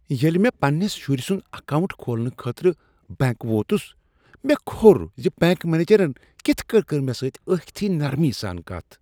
ییٚلہ مےٚ پننس شُرۍ سُند اکاونٹ کھولنہٕ خٲطرٕ بینٛک ووتُس مےٚ کھوٚر ز بنٛک منیجرن کتھ کٔنۍ کٔر مےٚ سۭتۍ ٲکھتھٕے نرمی سان کتھ۔